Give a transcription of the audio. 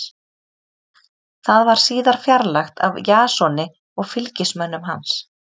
Það var síðar fjarlægt af Jasoni og fylgismönnum hans.